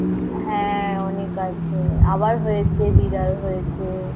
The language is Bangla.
হ্যা. অনেক আছে. আবার হয়েছে. বিড়াল হয়েছে